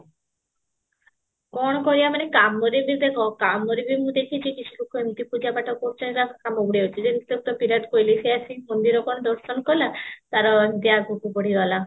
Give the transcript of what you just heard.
କଣ କରିବା ମାନେ କାମରେ ବି ଦେଖ କାମରେ ମୁଁ ଦେଖିଚି କି ଲୋକ ଏମିତି ପୂଜା ପାଠ କରୁଚନ୍ତି ତାଙ୍କ କାମ ବଢିଆ ହଉଚି ଯେମିତି ବିରାଟ କୋହିଲି ସେ କଣ ମନ୍ଦିର ଦର୍ଶନ କଲା ତାର ଏମତି ଆଗକୁ ବଢିଗଲା